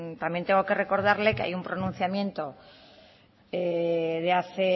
también tengo que recordarle que hay un pronunciamiento de hace